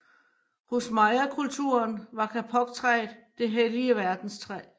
Hos Mayakulturen var kapoktræet det hellige verdenstræ